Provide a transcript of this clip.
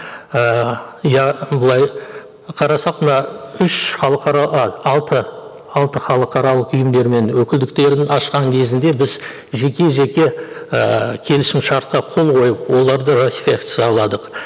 ыыы иә былай қарасақ мына үш а алты алты халықаралық ұйымдар мен өкілдіктерін ашқан кезінде біз жеке жеке ііі келісімшартқа қол қойып оларды ратификацияладық